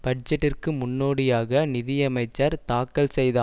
பட்ஜெட்டிற்கு முன்னோடியாக நிதியமைச்சர் தாக்கல் செய்த